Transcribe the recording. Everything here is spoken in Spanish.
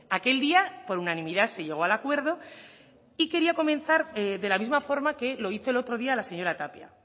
aquel día por unanimidad se llegó al acuerdo y quería comenzar de la misma forma que lo hizo el otro día la señora tapia